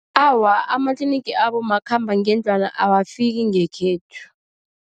Awa, amatlinigi abomakhambangendlwana awafiki ngekhethu.